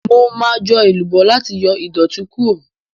Mo ma jọ èlùbọ́ láti yọ ìdọ̀tí Kúrò.